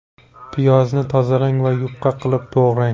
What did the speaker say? Piyozni tozalang va yupqa qilib to‘g‘rang.